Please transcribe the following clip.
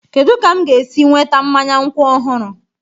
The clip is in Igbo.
Kedu ka m ga-esi nweta mmanya nkwụ ọhụrụ?